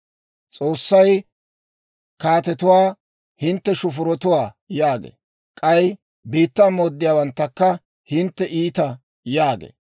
S'oossay kaatetuwaa, ‹Hintte shufurotuwaa› yaagee; k'ay biittaa mooddiyaawanttakka, ‹Hintte iita› yaagee.